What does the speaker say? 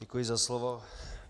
Děkuji za slovo.